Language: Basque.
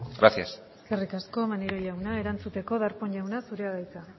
gracias eskerrik asko maneiro jauna erantzuteko darpón jauna zurea da hitza